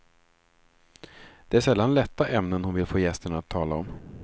Det är sällan lätta ämnen hon vill få gästerna att tala om.